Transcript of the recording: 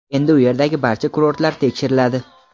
endi u yerdagi barcha kurortlar tekshiriladi.